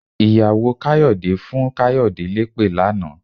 Ìyàwó Káyọ̀dé fún Káyọ̀dé lépè lánàá.